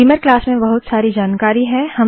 Beamer class में बहुत सारी जानकारी है